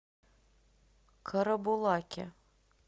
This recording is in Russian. карабулаке